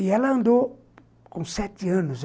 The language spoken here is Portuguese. E ela andou com sete anos.